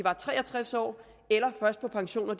er tre og tres år eller på pension når